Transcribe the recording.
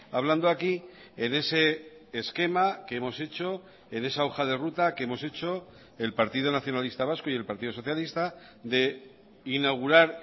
hablando aquí en ese esquema que hemos hecho en esa hoja de ruta que hemos hecho el partido nacionalista vasco y el partido socialista de inaugurar